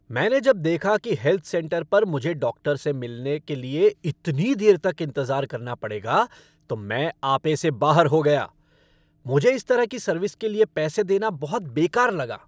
मैंने जब देखा कि हेल्थ सेंटर पर मुझे डॉक्टर से मिलने के लिए इतनी देर तक इंतज़ार करना पड़ेगा तो मैं आपे से बाहर हो गया! मुझे इस तरह की सर्विस के लिए पैसे देना बहुत बेकार लगा।